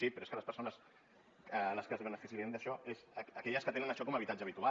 sí però és que les persones que es beneficiaran d’això són aquelles que tenen això com a habitatge habitual